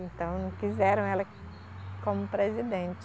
Então não quiseram ela como presidente.